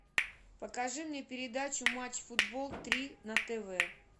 покажи мне передачу матч футбол три на тв